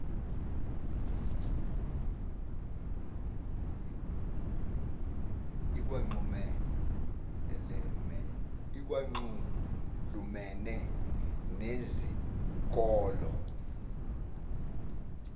ikwanxulumene nezi nkolo